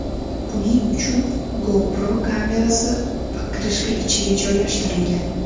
Buning uchun GoPro kamerasi pokrishka ichiga joylashtirilgan.